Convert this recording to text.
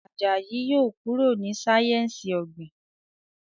Àjàyí yóò kúrò ní sáyẹnsì ogbin.